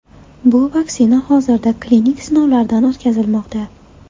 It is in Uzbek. Bu vaksina hozirda klinik sinovlardan o‘tkazilmoqda.